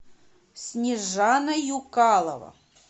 снежана юкалова